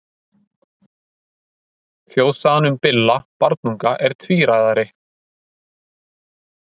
Þjóðsagan um Billa barnunga er tvíræðari.